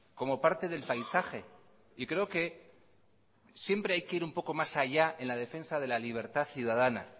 como parte del paisaje y creo que siempre hay que ir un poco más allá en la defensa de la libertad ciudadana